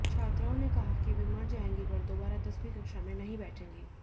छात्राओं ने कहा कि वे मर जाएंगी पर दोबारा दसवीं कक्षा में नहीं बैठेंगी